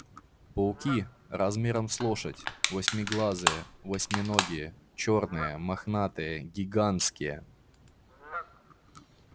пауки размером с лошадь восьмиглазые восьминогие чёрные мохнатые гигантские